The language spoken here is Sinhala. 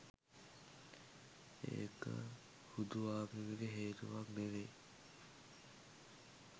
ඒක හුදු ආගමික හේතුවක් නෙවෙයි.